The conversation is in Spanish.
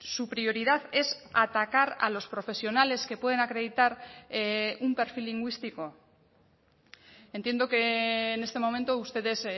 su prioridad es atacar a los profesionales que pueden acreditar un perfil lingüístico entiendo que en este momento ustedes